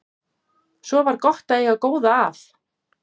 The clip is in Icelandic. Svo var gott að eiga góða að.